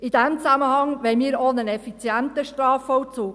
In diesem Zusammenhang wollen wir auch einen effizienten Strafvollzug.